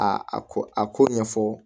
A a a ko a ko ɲɛfɔ